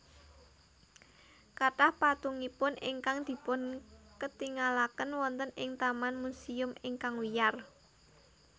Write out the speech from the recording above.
Kathah patungipun ingkang dipunketingalaken wonten ing taman musèum ingkang wiyar